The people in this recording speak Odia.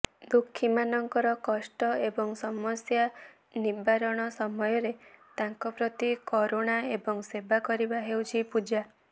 ଦୁଃଖୀମାନଙ୍କର କଷ୍ଟ ଏବଂ ସମସ୍ୟା ନିବାରଣ ସମୟରେ ତାଙ୍କ ପ୍ରତି କରୁଣା ଏବଂ ସେବା କରିବା ହେଉଛି ପୂଜା